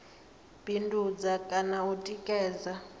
bindudza kha na u tikedza